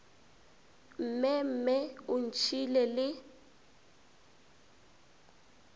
mme mme o ntšhiile le